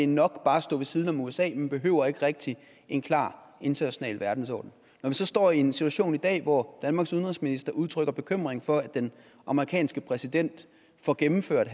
nok bare at stå ved siden af usa man behøvede ikke rigtigt en klar international verdensorden når vi så står i en situation i dag hvor danmarks udenrigsminister udtrykker bekymring for at den amerikanske præsident får gennemført